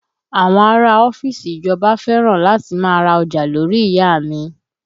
Àwọn ará a ọ́fíìsì ìjọba fẹ́ràn láti má a ra ọjà lórí ìyá a mi